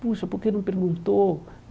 Puxa, por que não perguntou?